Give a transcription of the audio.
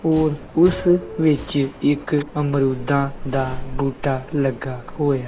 ਔਰ ਉਸ ਵਿੱਚ ਇੱਕ ਅਮਰੂਦਾਂ ਦਾ ਬੂਟਾ ਲੱਗਾ ਹੋਇਆ।